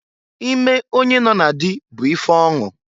Ime onye nọ na dị bụ ife ọṅụ.